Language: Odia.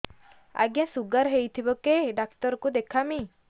ଆଜ୍ଞା ଶୁଗାର ହେଇଥିବ କେ ଡାକ୍ତର କୁ ଦେଖାମି